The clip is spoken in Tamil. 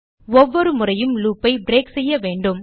ஒவ்வொரு முறையும் லூப் ஐ பிரேக் செய்ய வேண்டும்